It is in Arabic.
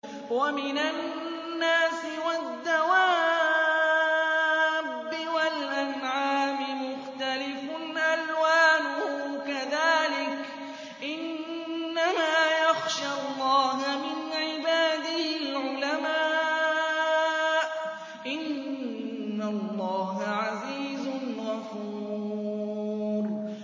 وَمِنَ النَّاسِ وَالدَّوَابِّ وَالْأَنْعَامِ مُخْتَلِفٌ أَلْوَانُهُ كَذَٰلِكَ ۗ إِنَّمَا يَخْشَى اللَّهَ مِنْ عِبَادِهِ الْعُلَمَاءُ ۗ إِنَّ اللَّهَ عَزِيزٌ غَفُورٌ